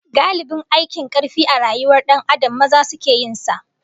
Galibin ayyukan karfi a rayuwar Dan Adam, maza suke yin sa